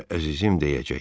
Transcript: Onlara əzizim deyəcək.